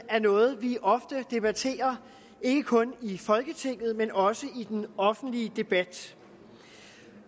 er noget vi ofte debatterer ikke kun i folketinget men også i den offentlige debat